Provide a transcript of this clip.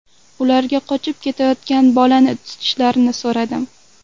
Ularga qochib ketayotgan bolani tutishlarini so‘radim.